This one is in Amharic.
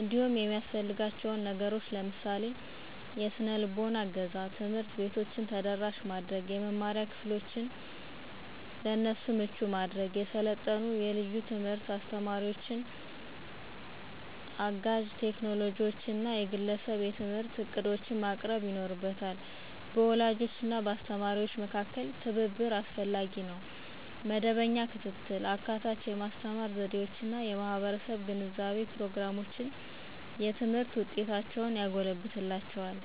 እንዲሁም የሚያሰፍልጋችው ነገሮችን ለምሳሌ -; የሰነልቦና እገዛ፣ ትምህርት ቤቶች ተደራሽ የመማሪያ ክፍሎችን፣ የሰለጠኑ የልዩ ትምህርት አስተማሪዎችን፣ አጋዥ ቴክኖሎጂዎችን እና የግለሰብ የትምህርት ዕቅዶችን ማቅረብ ይኖርበታ። በወላጆች እና በአስተማሪዎች መካከል ትብብር አስፈላጊ ነው. መደበኛ ክትትል፣ አካታች የማስተማር ዘዴዎች እና የማህበረሰብ ግንዛቤ ፕሮግራሞች የትምህርት ውጤቶችን ያጎለብትላቸዋል።